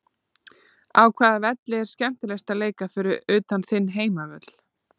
Á hvaða velli er skemmtilegast að leika fyrir utan þinn heimavöll?